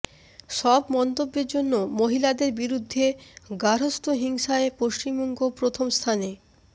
সব মন্তব্যের জন্য মহিলাদের বিরুদ্ধে গার্হস্থ্য হিংসায় পশ্চিমবঙ্গ প্রথম স্থানে